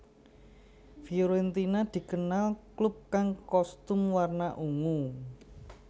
Fiorentina dikenal klub kang kostum warna ungu